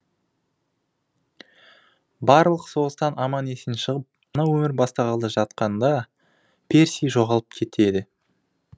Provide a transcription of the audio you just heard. барлық соғыстан аман есен шығып жаңа өмір бастағалы жатқанда перси жоғалып кетеді